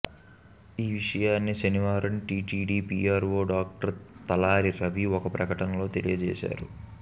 ఈవిషయాన్ని శనివారం TTD PRO doctor Talari Ravi ఒక ప్రకటనలో తెలియజేశారు